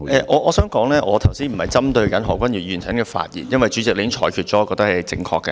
我想指出，我不是針對何君堯議員剛才的發言，因為主席已經作出裁決，我認為是正確的。